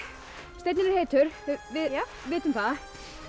steinninn er heitur við vitum það